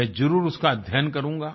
मैं जरुर उसका अध्ययन करूँगा